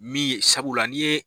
Min ye sabula n'i ye.